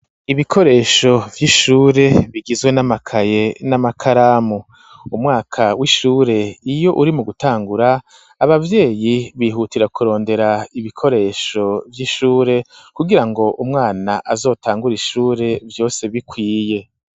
Ibikoresho vy'ishure bigizwe n'amakaye n'amakaramu umwaka w'ishure iyo uri mu gutangura abavyeyi bihutira ku rondera ibikoresho vy'ishure kugira ngo umwana azotangura ishure vyose bikwiye.